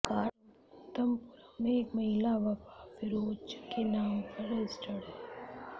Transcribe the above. car Thiruvananthapuram में एक महिला वफ़ा फ़िरोज़ के नाम पर रजिस्टर्ड है